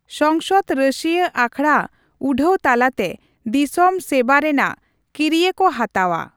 ᱥᱚᱝᱥᱚᱫ ᱨᱟᱹᱥᱤᱭᱟᱹ ᱟᱠᱷᱲᱟ ᱩᱰᱷᱟᱣ ᱛᱟᱞᱟᱛᱮ ᱫᱤᱥᱚᱢ ᱥᱮᱵᱟ ᱨᱮᱱᱟᱜ ᱠᱤᱨᱭᱟᱹ ᱠᱚ ᱦᱟᱛᱟᱣᱼᱟ ᱾